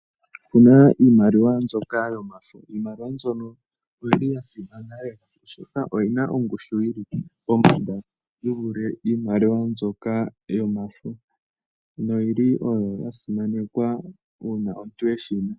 Opuna iimaliwa mbyoka yomafo. Iimaliwa mbyono oyili ya simana lela oshoka oyina ongushu yili pombanda yi vule iimaliwa mbyoka iikukutu, noyili oyo ya simanekwa uuna omuntu eshi na.